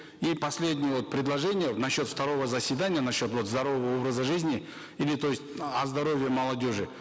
и последнее вот предложение насчет второго заседания насчет вот здорового образа жизни или то есть о здоровье молодежи